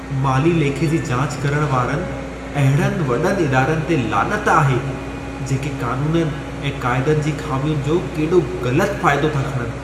माली लेखे जी जाच करण वारनि अहिड़नि वॾनि इदारनि ते लानत आहे, जेके क़ानूननि ऐं क़ाइदनि जी ख़ामियुनि जो केॾो ग़लतु फ़ाइदो था खणनि।